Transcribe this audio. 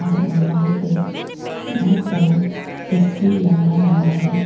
और वॉल पे बहोत सारा तस्वीर लगाया हुआ है।